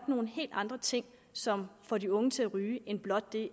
nogle helt andre ting som får de unge til at ryge end blot